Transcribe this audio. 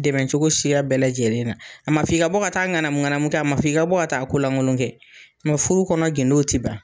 Dɛmɛcogo siya bɛɛ lajɛlen na, a ma f'i ka bɔ ka taa ŋanamuŋanamu na, a ma f'i ka bɔ ka taa kolankolon kɛ mɛ furu kɔnɔ gdo tɛ ban.